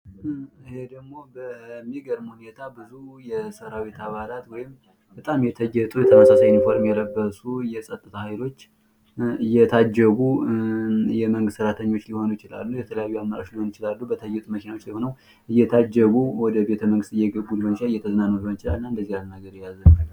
ይሄ ደግሞ በሚገርም ሁኔታ ብዙ የሰራዊት አባላት የመንግስት ሰራቶኞት እየታጀቡ ለመዝናናት ሊሆን ይቺላል እንዲሁም ወደቤት መንግስት እየገቡ ሊሆን ይችላል ::ብቻ እንደዚያ አይነት ነገር የያዘ